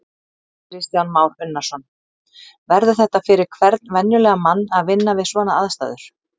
Kristján Már Unnarsson: Verður þetta fyrir hvern venjulegan mann að vinna við svona aðstæður?